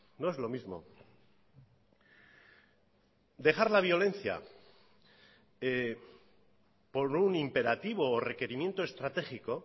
no es lo mismo dejar la violencia por un imperativo o requerimiento estratégico